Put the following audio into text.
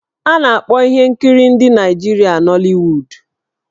A na-akpọ ihe nkiri ndị Naịjirịa 'Nollywood'.